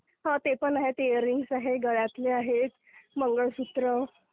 हो, ते पण आहेत. इअर रिंग्स आहेत, गळ्यातले आहेत, मंगळसूत्र...